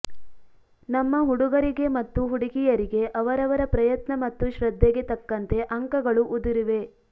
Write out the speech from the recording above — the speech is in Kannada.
ನಮ್ಮ ಹುಡುಗರಿಗೆ ಮತ್ತು ಹುಡುಗಿಯರಿಗೆ ಅವರವರ ಪ್ರಯತ್ನ ಮತ್ತು ಶ್ರದ್ಧೆಗೆ ತಕ್ಕಂತೆ ಅಂಕಗಳು ಉದುರಿವೆ